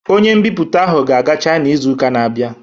Ọnye mbiputa ahụ ga-aga china izu ụka n'abia